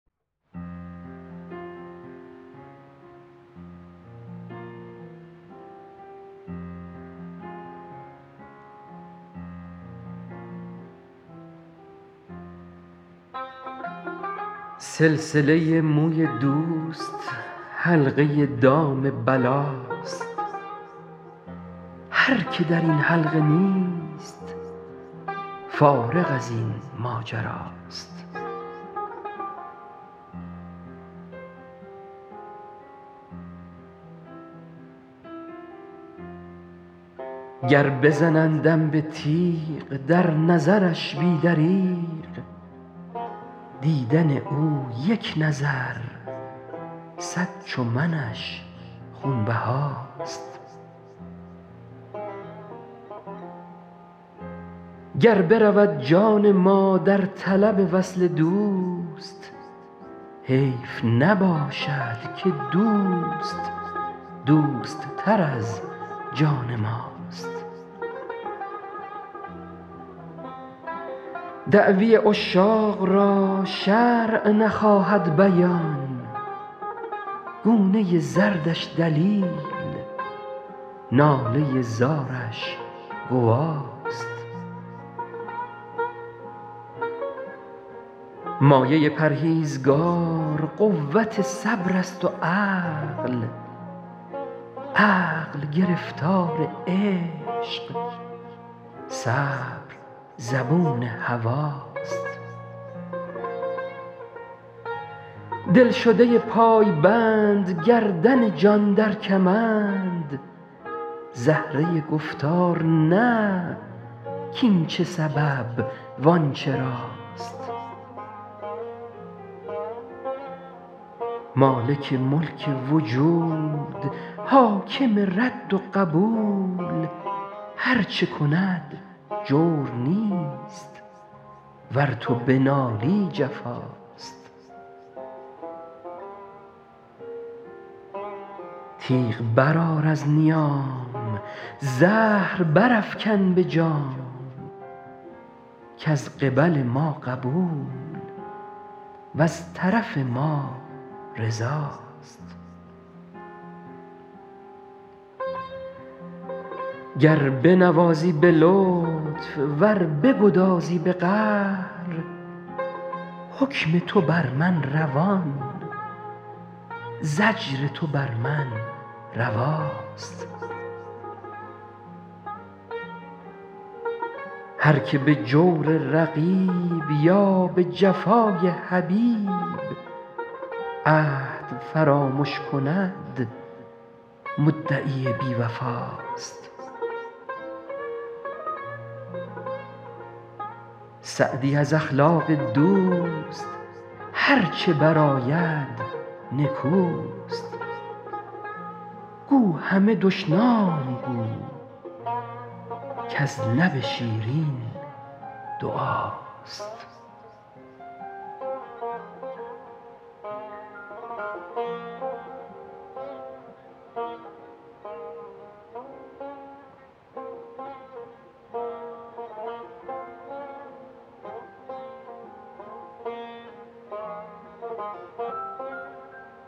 سلسله موی دوست حلقه دام بلاست هر که در این حلقه نیست فارغ از این ماجراست گر بزنندم به تیغ در نظرش بی دریغ دیدن او یک نظر صد چو منش خونبهاست گر برود جان ما در طلب وصل دوست حیف نباشد که دوست دوست تر از جان ماست دعوی عشاق را شرع نخواهد بیان گونه زردش دلیل ناله زارش گواست مایه پرهیزگار قوت صبر است و عقل عقل گرفتار عشق صبر زبون هواست دلشده پایبند گردن جان در کمند زهره گفتار نه کاین چه سبب وان چراست مالک ملک وجود حاکم رد و قبول هر چه کند جور نیست ور تو بنالی جفاست تیغ برآر از نیام زهر برافکن به جام کز قبل ما قبول وز طرف ما رضاست گر بنوازی به لطف ور بگدازی به قهر حکم تو بر من روان زجر تو بر من رواست هر که به جور رقیب یا به جفای حبیب عهد فرامش کند مدعی بی وفاست سعدی از اخلاق دوست هر چه برآید نکوست گو همه دشنام گو کز لب شیرین دعاست